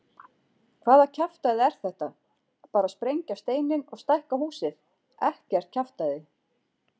Hvaða kjaftæði er þetta, bara sprengja steininn og stækka húsið, ekkert kjaftæði.